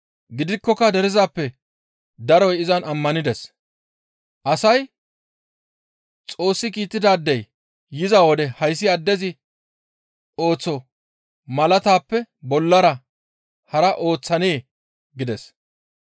Gidikkoka derezappe daroy izan ammanides; asay, «Xoossi kiittidaadey yiza wode hayssi addezi ooththoo malaatappe bollara hara ooththanee?» gides.